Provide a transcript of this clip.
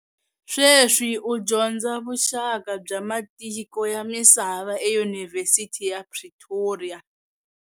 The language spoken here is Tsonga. Sweswi u dyondza vuxaka bya matiko ya misava eYunivhesiti ya Pretoria.